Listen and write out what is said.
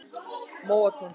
Móatúni